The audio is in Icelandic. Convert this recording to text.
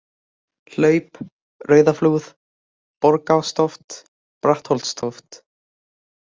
Hlaup, Rauðaflúð, Borgarástóft, Brattholtstóft